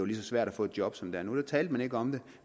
lige så svært at få et job som det er nu talte man ikke om det